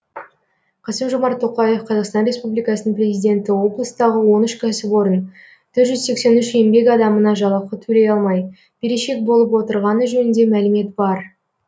қасым жомарт тоқаев қазақстан республикасының президенті облыстағы он үш кәсіпорын төрт жүз сексен үш еңбек адамына жалақы төлей алмай берешек болып отырғаны жөнінде мәлімет бар